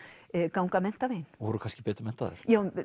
ganga menntaveginn og voru kannski betur menntaðar